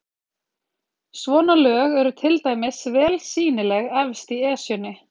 Svona lög eru til dæmis vel sýnileg efst í Esjunni.